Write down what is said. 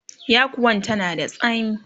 yakuwan tana da tsami